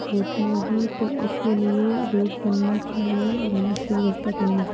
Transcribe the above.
वोती होगी तो इसके लिए रोड बनना चाहिए और अन्न की व्यवस्था करनी चा --